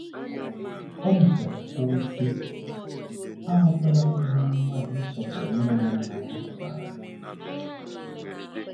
O mechara kwuo, sị: “ Aghọtala m ihe mmadụ ịsọpụrụ nne ya na nna ya pụtara.